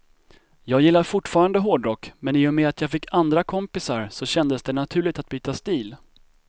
Jag gillar fortfarande hårdrock, men i och med att jag fick andra kompisar så kändes det naturligt att byta stil.